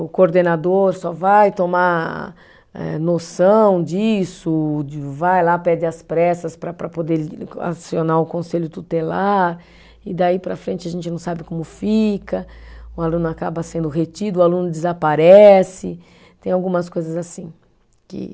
O coordenador só vai tomar eh noção disso, de vai lá, pede às pressas para para poder acionar o conselho tutelar, e daí para frente a gente não sabe como fica, o aluno acaba sendo retido, o aluno desaparece, tem algumas coisas assim que.